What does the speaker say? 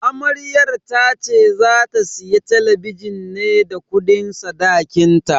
Amaryar tace za ta siya talabijin ne da kudin sadakinta.